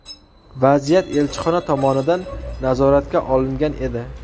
Vaziyat elchixona tomonidan nazoratga olingan edi.